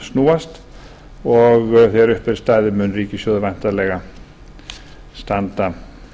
snúast og þegar upp er staðið mun ríkissjóður líklega standa